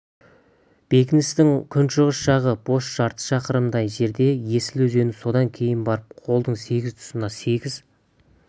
бекіністің күншығыс жағы бос жарты шақырымдай жерде есіл өзені содан кейін барып қолдың сегіз тұсында сегіз